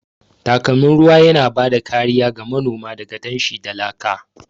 Takalmin ruwan yana ba da kariya ga manoma daga danshi da laka.